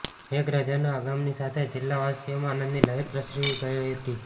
મેઘરાજાના આગમનની સાથે જિલ્લાવાસીઓમાં આનંદની લહેર પ્રસરી ગઇ હતી